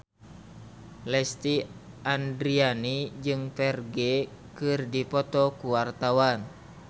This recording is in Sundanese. Lesti Andryani jeung Ferdge keur dipoto ku wartawan